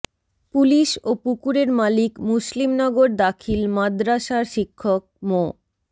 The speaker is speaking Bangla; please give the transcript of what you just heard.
পুলিশ ও পুকুরের মালিক মুসলিমনগর দাখিল মাদরাসার শিক্ষক মো